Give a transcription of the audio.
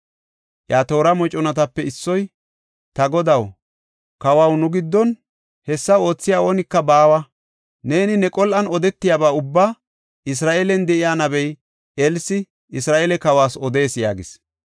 Iya toora moconatape issoy, “Ta godaw, kawaw, nu giddon hessa oothiya oonika baawa. Shin neeni ne qol7an odetiyaba ubbaa Isra7eelen de7iya nabey Elsi Isra7eele kawas odees” yaagis.